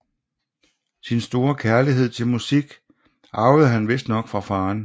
Sin store kærlighed til musik arvede han vistnok fra faderen